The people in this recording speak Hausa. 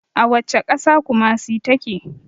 A wacce ƙasa kumasi ta ke?